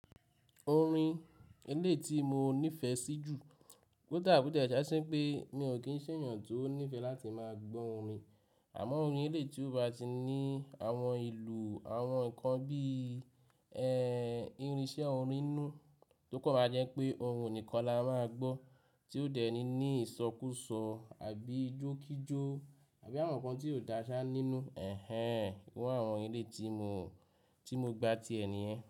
Orin ilẹ̀ tí mo nífẹ̀ẹ́ sí jù. Koda bo ti e jasí wipé mi ò kí ń ṣèyàn tó nífẹ̀ẹ́ láti máa gbọ́ orin. Àmọ́ orin ilẹ̀ tí ó bá ti ní àwọn ìlù àwọn nǹkan bí i, ẹ́, ìrìnsẹ́ orin inú, tókọ̀ máa jẹ́ pé ohun nìkan la máa gbọ́ tí ó dẹ̀ ní ìsọkúsọ àbí ijókíjó àbí àwọn nǹkan tí o dá ṣá nínú. Ẹ̀hẹn, ìru àwọn orin eleyi tí mo, tí mo gba ti ẹ ni yẹn.